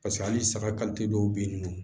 Paseke halisa dɔw be yen nɔ